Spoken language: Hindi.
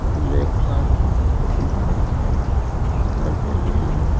सामने एक पार्क है एक बाइक है ऊपर जमीन है।